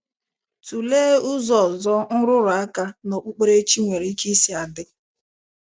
Tulee ụzọ ọzọ nrụrụ aka na Okpụkpere chi nwere ike isi adị.